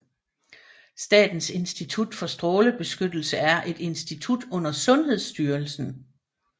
Statens Institut for Strålebeskyttelse er et institut under Sundhedsstyrelsen